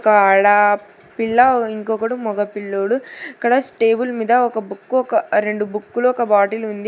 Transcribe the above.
ఆడా పిల్ల ఇంకొకడు మగ పిల్లోడు అక్కడ స్టేబుల్ మీద ఒక బుక్కు ఒక రెండు బుక్కులో ఒక బాటిల్ ఉంది.